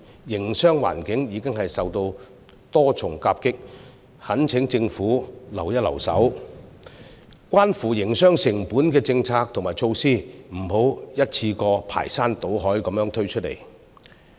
營商環境已經受到多重夾擊，我懇請政府手下留情，關乎營商成本的政策和措施不要一次過排山倒海地推出。